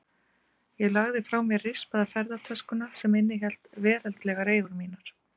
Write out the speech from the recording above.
Ég lagði frá mér rispaða ferðatöskuna sem innihélt veraldlegar eigur mínar.